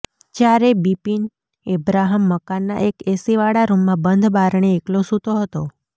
જયારે બીપીન એબ્રાહમ મકાનના એક એસીવાળા રૃમમાં બંધ બારણે એકલો સુતો હતો